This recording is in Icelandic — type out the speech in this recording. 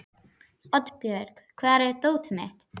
Oddbjörg, hvar er dótið mitt?